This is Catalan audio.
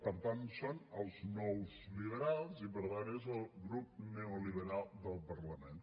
per tant són els nous liberals i per tant és el grup neoliberal del parlament